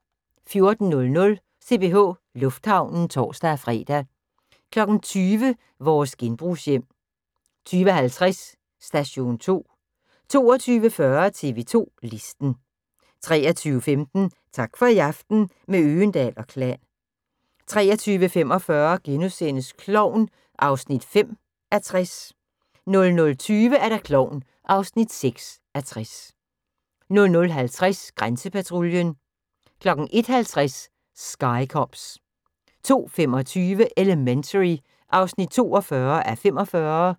14:00: CPH Lufthavnen (tor-fre) 20:00: Vores genbrugshjem 20:50: Station 2 22:40: TV 2 Listen 23:15: Tak for i aften – med Øgendahl & Klan 23:45: Klovn (5:60)* 00:20: Klovn (6:60) 00:50: Grænsepatruljen 01:50: Sky Cops 02:25: Elementary (42:45)